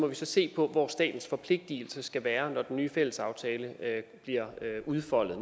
vi så se på hvor statens forpligtelser skal være når den nye fællesaftale bliver udfoldet